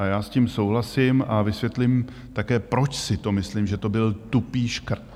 A já s tím souhlasím a vysvětlím také, proč si to myslím, že to byl tupý škrt.